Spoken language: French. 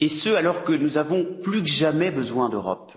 Et ce, alors que nous avons plus que jamais besoin d'Europe.